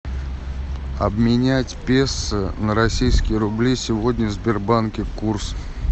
обменять песо на российские рубли сегодня в сбербанке курс